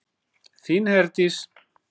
Þín Herdís.